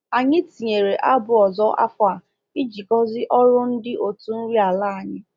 Anyị tinyere abụ ọzọ afọ a iji gọzi ọrụ ndị otu nri ala anyị.